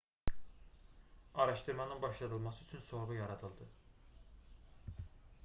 araşdırmanın başladılması üçün sorğu yaradıldı